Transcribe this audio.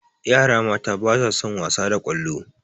Yara mata ba sa son wasa da ƙwallo